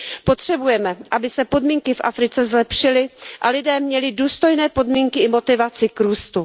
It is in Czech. Potřebujeme, aby se podmínky v Africe zlepšily a lidé měli důstojné podmínky i motivaci k růstu.